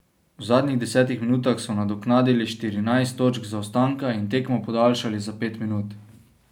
V zadnjih desetih minutah so nadoknadili štirinajst točk zaostanka in tekmo podaljšali za pet minut.